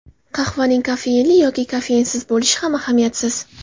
Qahvaning kofeinli yoki kofeinsiz bo‘lishi ham ahamiyatsiz.